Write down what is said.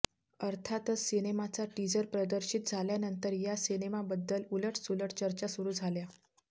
अर्थातच सिनेमाचा टीझर प्रदर्शित झाल्यानंतर या सिनेमाबद्दल उलटसुलट चर्चा सुरू झाल्या